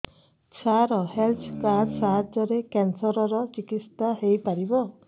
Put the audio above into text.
ସାର health card ସାହାଯ୍ୟରେ cancer ର ଚିକିତ୍ସା ହେଇପାରିବ